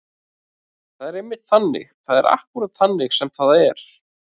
Það er einmitt þannig. það er akkúrat þannig sem það er.